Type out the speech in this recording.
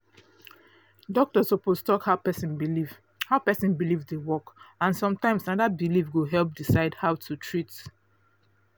doctor suppose talk how person belief how person belief dey work and sometimes na that belief go help decide how to treat